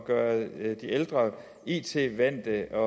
gøre de ældre it vante og